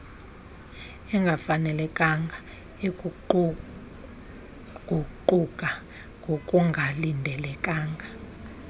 engafanelekanga eguquguquka ngokungalindelekanga